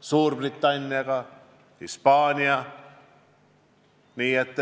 Suurbritannia ja Hispaania sõjaväelastega.